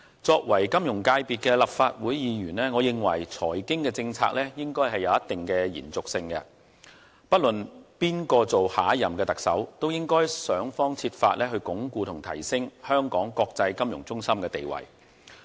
作為金融組別的立法會議員，我認為財經政策應該有一定的延續性，不論誰當選下屆特首，都應該設法鞏固和提升香港國際金融中心的地位。